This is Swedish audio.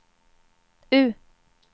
U